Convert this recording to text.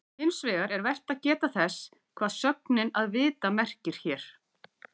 Hins vegar er vert að geta þess hvað sögnin að vita merkir hér.